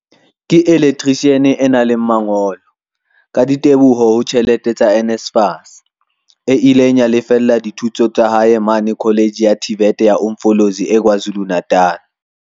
ke elektrishiane e nang le mangolo, ka diteboho ho tjhelete tsa NSFAS, e ileng ya lefella dithuto tsa hae mane Kholetjhe ya TVET ya Umfolozi e KwaZulu-Natal.